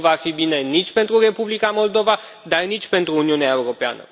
Nu va fi bine nici pentru Republica Moldova, dar nici pentru Uniunea Europeană.